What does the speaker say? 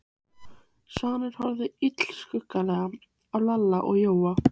Svanur horfði illskulega á Lalla og Jóa.